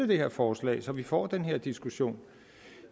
det her forslag så vi får den her diskussion